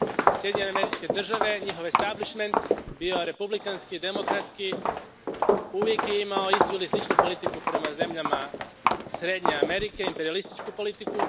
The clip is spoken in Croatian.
Sjedinjene Američke Države, njihov establišment, bio republikanski, demokratski uvijek je imao istu ili sličnu politiku prema zemljama Srednje Amerike, imperijalističku politiku.